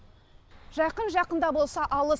жақын жақын да болса алыс